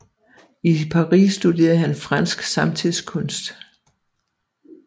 I Paris studerede han fransk samtidskunst